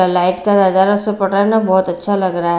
बहुत अच्छा लग रहा है।